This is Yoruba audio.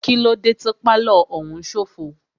Kílódé tí pálọ̀ òún ṣófo?